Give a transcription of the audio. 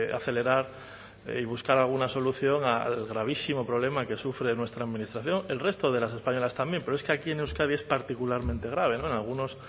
acelerar y buscar alguna solución al gravísimo problema que sufre nuestra administración el resto de las españolas también pero es que aquí en euskadi es particularmente grave en algunos